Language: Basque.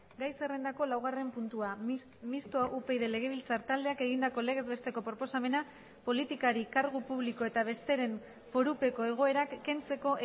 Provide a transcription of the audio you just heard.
gai zerrendako laugarren puntua mistoa upyd legebiltzar taldeak egindako legez besteko proposamena politikari kargu publiko eta besteren forupeko egoerak kentzeko